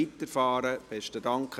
Mittwoch (Abend)